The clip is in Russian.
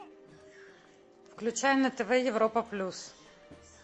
включай на тв европа плюс